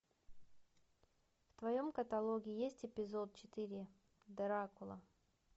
в твоем каталоге есть эпизод четыре дракула